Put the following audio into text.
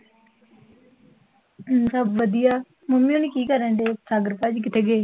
ਹੂੰ, ਸਭ ਵਧੀਆ ਮੰਮੀ ਹੋਣੀ ਕਿ ਕਰਣ ਡੇ? ਸਾਗਰ ਭਾਜੀ ਕਿਥੇ ਗਏ?